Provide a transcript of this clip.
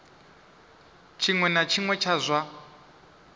tshiṅwe na tshiṅwe tsha zwa